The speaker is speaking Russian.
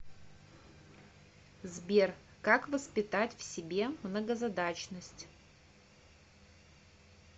сбер как воспитать в себе многозадачность